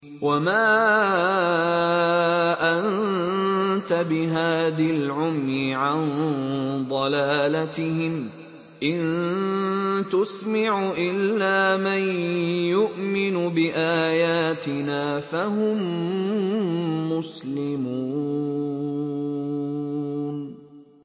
وَمَا أَنتَ بِهَادِ الْعُمْيِ عَن ضَلَالَتِهِمْ ۖ إِن تُسْمِعُ إِلَّا مَن يُؤْمِنُ بِآيَاتِنَا فَهُم مُّسْلِمُونَ